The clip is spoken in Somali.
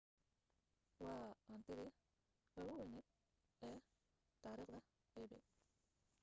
waa hantidii ugu weyneed ee taariikhda ebay